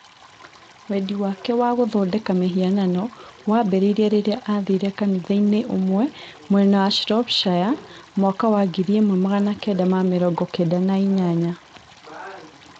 Wendi wake wa gũthondeka mĩhianano waambĩrĩirie rĩrĩa aathire kanitha-inĩ ũmwe mwena wa Shropshire 1998.